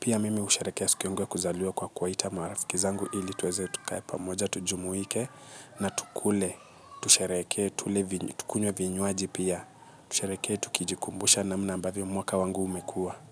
Pia mimi husherehekea siku yangu ya kuzaliwa kwa kuwaita marafiki zangu ili tuweze tukae pammoja tujumuike na tukule. Tusherehekee tukunywe vinywaji pia. Tusherehekee tukijikumbusha namna ambavyo mwaka wangu umekuwa.